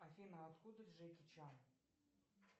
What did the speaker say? афина откуда джеки чан